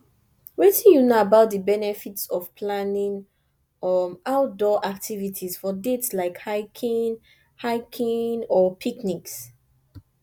wetin you know about di benefits of planning um outdoor activities for dates like hiking hiking or picnics